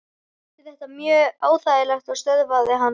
Þau kynntust stuttu eftir að hún lauk námi.